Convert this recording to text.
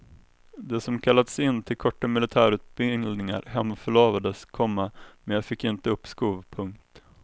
De som kallats in till korta militärutbildningar hemförlovades, komma men jag fick inte uppskov. punkt